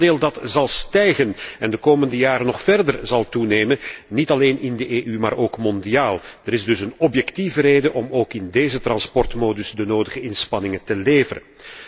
Dit aandeel stijgt en zal de komende jaren nog verder toenemen, niet alleen in de EU maar ook mondiaal. Er is dus een objectieve reden om ook in deze transportmodus de nodige inspanningen te leveren.